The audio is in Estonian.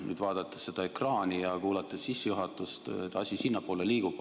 Nüüd vaadates seda ekraani ja kuulates sissejuhatust näen, et asi sinnapoole liigub.